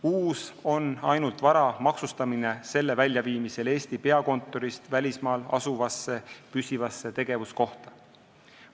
Uus on ainult vara maksustamine selle väljaviimisel Eesti peakontorist välismaal asuvasse püsivasse tegevuskohta.